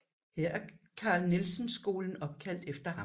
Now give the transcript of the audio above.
Her er Carl Nielsen Skolen opkaldt efter ham